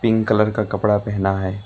Pink colour का कपड़ा पहना है।